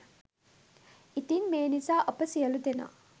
ඉතින් මේ නිසා අප සියලූ දෙනා